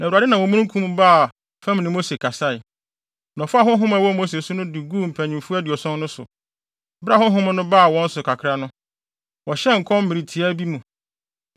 Na Awurade nam omununkum mu baa fam ne Mose kasae, na ɔfaa honhom a ɛwɔ Mose so no de guu mpanyimfo aduɔson no so. Bere a honhom no baa wɔn so kakra no, wɔhyɛɛ nkɔm mmere tiaa bi mu.